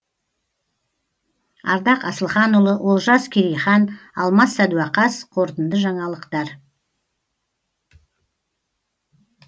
ардақ асылханұлы олжас керейхан алмас сәдуақас қорытынды жаңалықтар